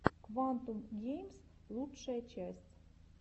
квантум геймс лучшая часть